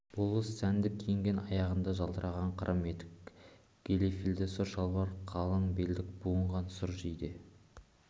болыс сәнді киінген аяғында жалтыраған қырым етік галифелі сұр шалбар қалың белдік буынған сұр жейде